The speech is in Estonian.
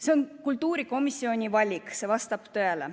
See on kultuurikomisjoni valik, see vastab tõele.